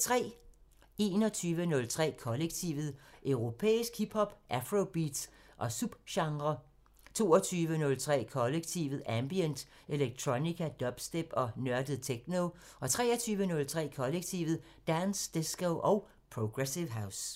21:03: Kollektivet: Europæisk hip hop, afrobeats og subgenrer 22:03: Kollektivet: Ambient, electronica, dubstep og nørdet techno 23:03: Kollektivet: Dance, disco og progressive house